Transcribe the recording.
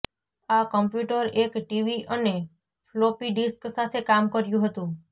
આ કમ્પ્યુટર એક ટીવી અને ફ્લોપી ડિસ્ક સાથે કામ કર્યું હતું